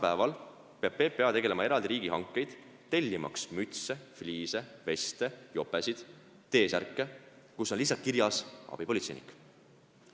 Praegu peab PPA tegema eraldi riigihankeid tellimaks mütse, fliise, veste, jopesid, T-särke, kus on lihtsalt kirjas "abipolitseinik".